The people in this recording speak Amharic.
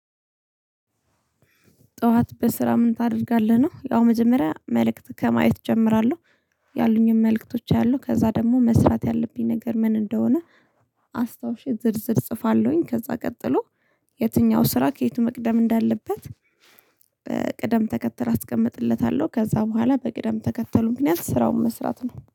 ጠዋት በስራ ምን ታደርጋለህ ነው? ያው መጀመሪያ መልእክት ከማየት እጀምራለሁ። ያሉኝም መልእክቶች አያለሁ ከዛ ደግሞ መስራት ያለብኝ ነገር ምን እንደሆነ። አስታውሼ ዝርዝር እጽፋለሁኝ ከዛ ቀጥሎ። የትኛው ስራ ከየቱ መቅደም እንዳለበት? ቅደም ተከተል አስቀምጥለታለሁ። ከዛ በኋላ በቅደም ተከተሉ ምክንያት ስራውን መስራት ነው